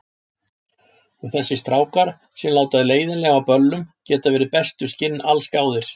Og þessir strákar, sem láta leiðinlega á böllum, geta verið bestu skinn allsgáðir.